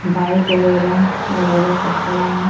Bike वगैरा वगैरा सब खड़ा हैन।